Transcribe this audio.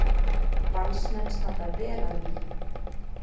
Valsmenn standa vel að vígi